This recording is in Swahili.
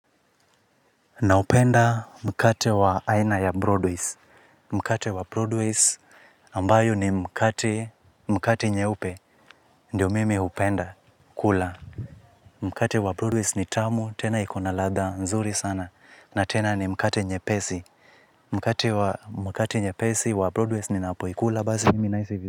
Na upenda mkate wa aina ya Broadways, mkate wa Broadways ambayo ni mkate, mkate nye upe, ndio mimi upenda, kula. Mkate wa Broadways ni tamu, tena ikona ladha, nzuri sana, na tena ni mkate nye pesi. Mkate wa mkate nye pesi wa Broadways ni napoikula, bazi mimi nahisi.